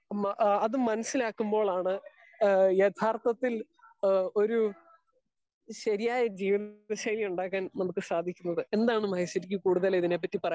Speaker 2 മ ഹാ അത് മനസ്സിലാക്കുമ്പോഴാണ് ഹേ എഥാർത്ഥത്തിൽ ഹേ ഒര് ശരിയായ ജീവിത ശൈലി ഉണ്ടാക്കാൻ നമുക്ക് സാധിക്കുന്നത്. എന്താണ് മഹേഷ്വരിക്ക് ഇതിനെ പറ്റി കൂടുതൽ ഇതിനെ പറ്റി പറയാൻ